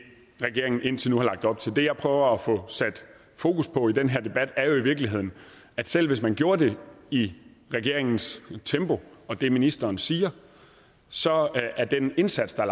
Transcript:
regeringen indtil nu har lagt op til det jeg prøver at få sat fokus på i den her debat er jo i virkeligheden at selv hvis man gjorde det i regeringens tempo og det ministeren siger så er den indsats der